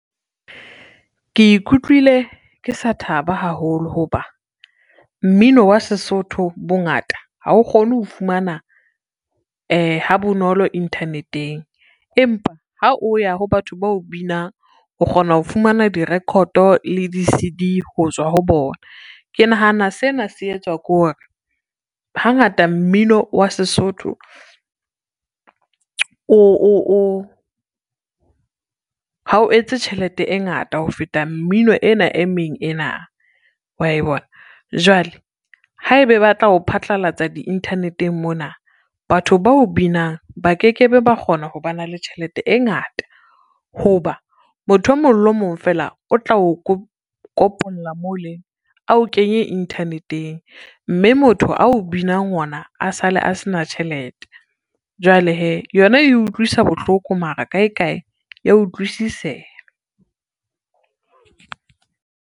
Ke ikutlwile ke sa thaba haholo ho ba, mmino wa Sesotho bongata ha o kgone ho fumana ha bonolo internet-eng, empa ha o ya ho batho bao binang o kgona ho fumana direkhoto le di-C_D ho tswa ho bona. Ke nahana sena se etswa ke hore hangata mmino wa Sesotho ha o etse tjhelete e ngata ho feta mmino ena e meng ena wa e bona. Jwale ha ebe ba tla o phatlalatsa di-internet-eng mona, batho bao binang ba ke ke be ba kgona ho ba na le tjhelete e ngata, ho ba motho e mong le o mong feela o tla o kopola mole, a o kenye internet-eng, mme motho ao binang ona a sale a se na tjhelete, jwale hee yona e utlwisa bohloko mara kae kae ya utlwisiseha.